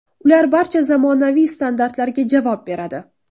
Ular barcha zamonaviy standartlarga javob beradi.